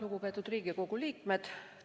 Lugupeetud Riigikogu liikmed!